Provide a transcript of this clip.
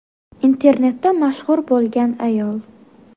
Internetda mashhur bo‘lgan ayol.